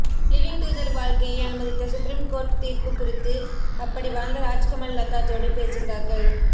living together வாழ்க்கையை அனுமதித்த supreme court தீர்ப்பு குறித்து அப்படி வாழ்ந்த ராஜ்கமல் லதா ஜோடி பேசுகிறார்கள்